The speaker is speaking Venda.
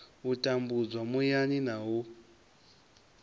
u tambudzwa muyani na u